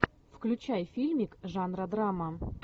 включай фильмик жанра драма